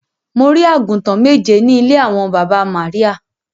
Mo rí àgùntàn méje ní ilé àwọn baba Maria.